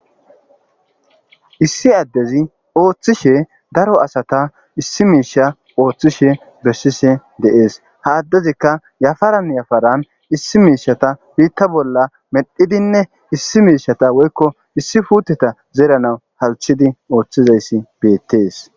issi addezi ooththishe daro asata issi miisha ooththishe bessishe deees. Haaththezika yafaran yafaran issi miishata biitta bolla medhidinne issi miishata woykko issi puuteta zeerana halchidi ooththizayssi beettees